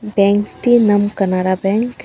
ব্যাঙ্কটির নাম কানারা ব্যাঙ্ক .